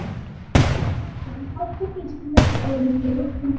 Ingimar Jónsson: Þátttaka Íslendinga í Ólympíuleikunum